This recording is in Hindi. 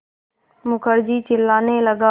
मुखर्जी चिल्लाने लगा